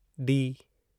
D